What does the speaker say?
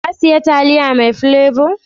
Ka siya taliya mai plebo?